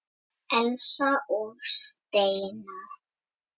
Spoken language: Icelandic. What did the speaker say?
Nei, því fer fjarri.